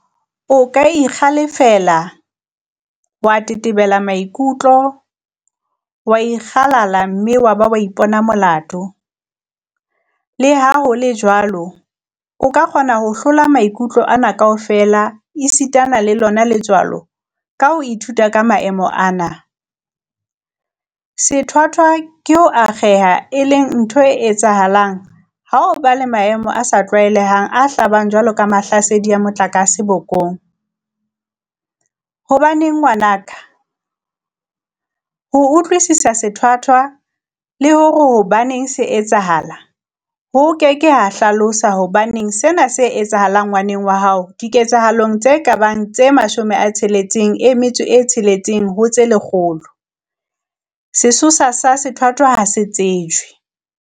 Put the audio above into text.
O ka ikgale-fela, wa tetebela maikutlo, wa ikgalala mme wa ba wa ipona molato, leha ho le jwalo, o ka kgona ho hlola maikutlo ana kaofela esitana le lona letswalo ka ho ithuta ka maemo ana. Sethwathwa ke ho akgeha, e leng ntho e etsahalang ha ho ba le maemo a sa tlwaelehang a hlabang jwalo ka mahlasedi a motlakase bokong. Hobaneng ngwana ka? Ho utlwisisa sethwathwa, le hore hobaneng se etsahala, ho ke ke ha hlalosa hobaneng sena se etsahala ngwaneng wa haoDiketsahalong tse ka bang tse 66 ho tse lekgolo, sesosa sa sethwathwa ha se tsejwe.